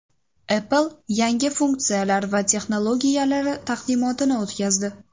Apple yangi funksiyalar va texnologiyalari taqdimotini o‘tkazdi.